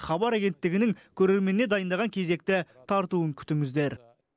хабар агенттігінің көрерменіне дайындаған кезекті тартуын күтіңіздер